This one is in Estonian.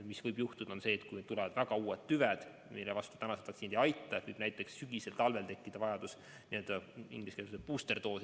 Mis võib juhtuda, on see, et kui tulevad väga teistsugused tüved, mille vastu praegused vaktsiinid ei aita, siis võib näiteks sügisel-talvel tekkida vajadus ingliskeelse sõnaga booster dose'i järele.